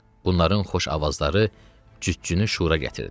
Bunların xoş avazları cütçünü şüura gətirdi.